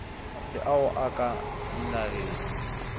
le ao a ka dinageng